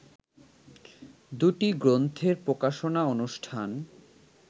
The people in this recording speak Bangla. দুটি গ্রন্থের প্রকাশনাঅনুষ্ঠান